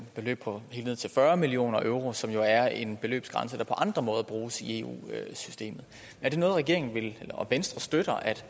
beløb på helt ned til fyrre million euro som jo er en beløbsgrænse der på andre måder bruges i eu systemet er det noget regeringen og venstre støtter altså